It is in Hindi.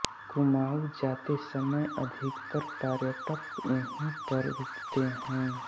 कुमांऊ जाते समय अधिकतर पर्यटक यहीं पर रूकते हैं